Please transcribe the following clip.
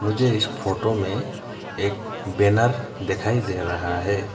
मुझे इस फोटो में एक बैनर दिखाई दे रहा है।